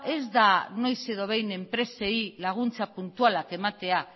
ez da noiz edo behin enpresei laguntza puntualak ematea